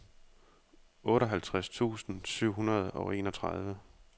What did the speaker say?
otteoghalvtreds tusind syv hundrede og enogtredive